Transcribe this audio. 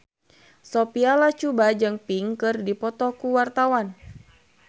Sophia Latjuba jeung Pink keur dipoto ku wartawan